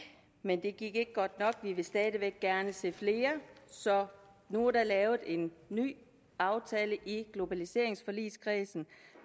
men det gik ikke godt nok vi vil stadig væk gerne se flere så nu er der lavet en ny aftale i globaliseringsforligskredsen